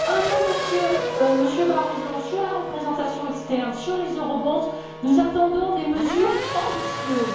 Un mot, Monsieur Barroso, sur la représentation externe, sur les eurobonds nous attendons des mesures ambitieuses.